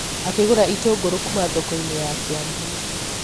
akĩgũra itũngũrũ kuuma thoko-inĩ ya kiambu